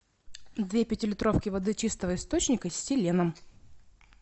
две пятилитровки воды чистого источника с селеном